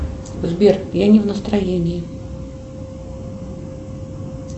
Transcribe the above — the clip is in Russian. сбер я не в настроении